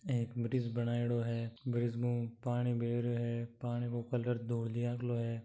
एक ब्रिज बनायेडो है ब्रिज म हु पानी बह रियो है पानी को कलर धोलिया को है।